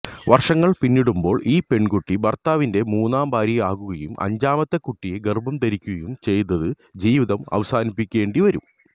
വര്ഷങ്ങള് പിന്നിടുമ്പോള് ഈ പെണ്കുട്ടി ഭര്ത്താവിന്റെ മൂന്നാം ഭാര്യയാകുകയും അഞ്ചാമത്തെ കുട്ടിയെ ഗര്ഭം ധരിക്കുകയും ചെയ്ത് ജീവിതം അവസാനിപ്പിക്കേണ്ടി വരും